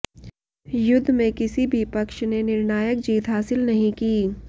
युद्ध में किसी भी पक्ष ने निर्णायक जीत हासिल नहीं की